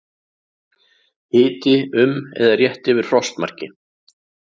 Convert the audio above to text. Hiti um eða rétt yfir frostmarki